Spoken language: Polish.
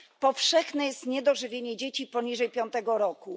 Powszechne jest niedożywienie dzieci poniżej 5 roku.